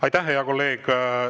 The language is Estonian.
Aitäh, hea kolleeg!